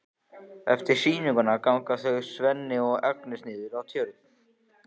Eftir sýninguna ganga þau Svenni og Agnes niður að Tjörn.